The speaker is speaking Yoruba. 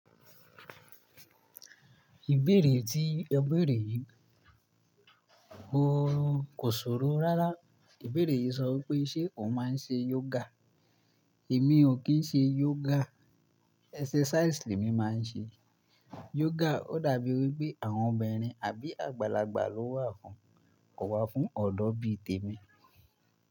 Ìbéèrè tí ẹ béèrè yìí, mo kò ṣòro rárá. Ìbéèrè yìí sọ wípé ṣe o máa ń ṣe yoga? Èmi ò kí ń ṣe yoga, exercise le mí máa ń ṣe. Yoga ó dàbí wípé àwọn obìnrin àbí àgbàlagbà ló wà fún, kò wà fún ọ̀dọ́ bí i tèmi.